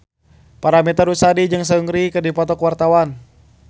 Paramitha Rusady jeung Seungri keur dipoto ku wartawan